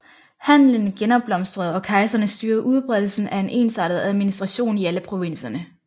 Handelen genopblomstrede og kejserne styrede udbredelsen af en ensartet administration i alle provinserne